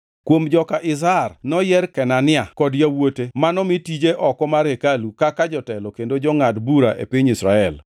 Kuom joka Izhar noyier Kenania kod yawuote manomi tije oko mar hekalu kaka jotelo kendo jongʼad bura e piny Israel.